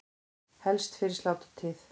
Helst fyrir sláturtíð.